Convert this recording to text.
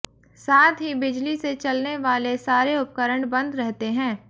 साथ ही बिजली से चलने वाले सारे उपकरण बंद रहते हैं